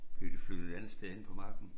Blev de flyttet et andet sted hen på marken